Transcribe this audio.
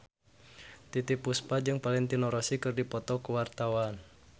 Titiek Puspa jeung Valentino Rossi keur dipoto ku wartawan